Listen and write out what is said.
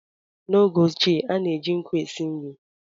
N’oge ochie, a na-eji nkụ esi nri